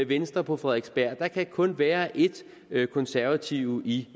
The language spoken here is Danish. venstre på frederiksberg der kan kun være et konservative i